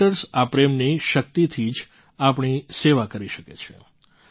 doctors આ પ્રેમની શક્તિથી જ આપણી સેવા કરી શકે છે